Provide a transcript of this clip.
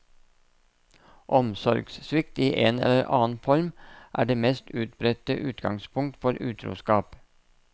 Omsorgssvikt i en eller annen form er det mest utbredte utgangspunkt for utroskap.